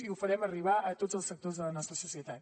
i ho farem arribar a tots els sectors de la nostra societat